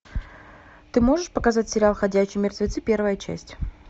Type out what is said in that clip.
ты можешь показать сериал ходячие мертвецы первая часть